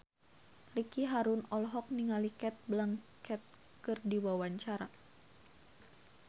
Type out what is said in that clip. Ricky Harun olohok ningali Cate Blanchett keur diwawancara